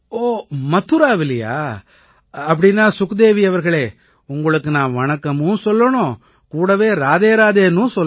மதுராவிலயா அப்படீன்னா சுக்தேவி அவர்களே உங்களுக்கு நான் வணக்கமும் சொல்லணும் கூடவே ராதே ராதேன்னும் சொல்லணும்